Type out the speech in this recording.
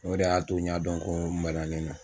O de y'a to n y'a dɔn ko maralen n na